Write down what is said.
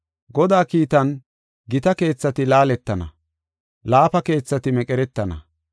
Godaa kiitan, gita keethati laaletana; laafa keethati meqeretana.